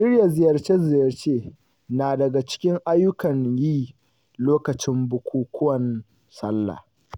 Shirya ziyarce-ziryace na daga cikin ayyukan yi lokacin bukukuwan Sallah.